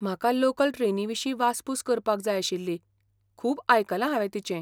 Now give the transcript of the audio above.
म्हाका लोकल ट्रेनीविशीं वासपूस करपाक जाय आशिल्ली, खूब आयकलां हांवें तिचें.